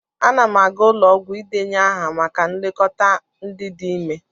Ana n aga ụlọ ọgwụ idenye ahụ maka nlekọta ndị dị ime.